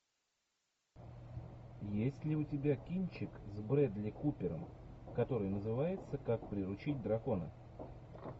есть ли у тебя кинчик с брэдли купером который называется как приручить дракона